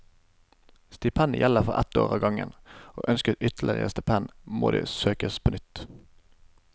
Stipendet gjelder for ett år av gangen og ønskes ytterligere stipend, må det søkes på nytt.